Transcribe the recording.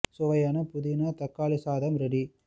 சுவையான புதினா தக்காளி சாதம் ரெடி